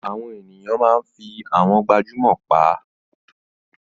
Àwọn ènìyàn máa ń fi àwọn gbajúmọ̀ pa